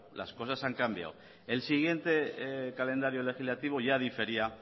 las cosas han cambiado el siguiente calendario legislativo ya difería